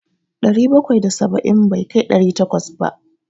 Ɗari bakwai da saba'in bai kai ɗari takwas ba.